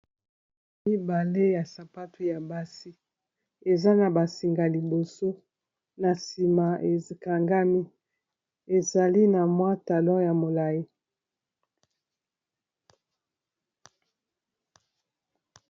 Mibale ya sapato ya basi eza na ba singa liboso, na nsima ekangami ezali na mwa talon ya molayi.